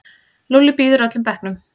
Lúlli býður öllum bekknum.